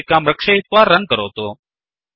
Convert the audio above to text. सञ्चिकां रक्षयित्वा रन् करोतु